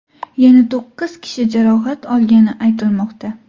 Yana to‘qqiz kishi jarohat olgani aytilmoqda.